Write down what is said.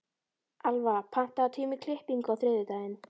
Alfa, pantaðu tíma í klippingu á þriðjudaginn.